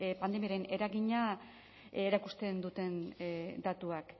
pandemiaren eragina erakusten duten datuak